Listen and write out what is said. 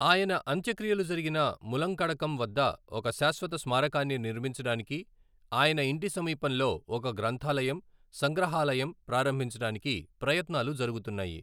ఆయన అంత్యక్రియలు జరిగిన ములంకడకం వద్ద ఒక శాశ్వత స్మారకాన్ని నిర్మించడానికి, ఆయన ఇంటి సమీపంలో ఒక గ్రంథాలయం, సంగ్రహాలయం ప్రారంభించడానికి ప్రయత్నాలు జరుగుతున్నాయి.